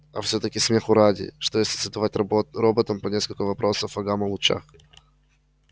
а всё-таки смеху ради что если задавать работ роботам по нескольку вопросов о гамма-лучах